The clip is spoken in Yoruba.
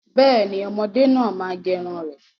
Bẹ́ẹ̀ni, ọmọdé náà má gẹrun rẹ̀